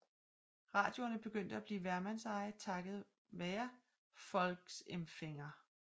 Radioerne begyndte at blive hvermandseje takket være Volksempfänger